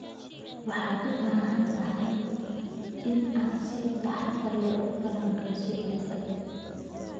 Waxaad u baahan tahay inaad si taxadar leh u falanqeyso ciidda.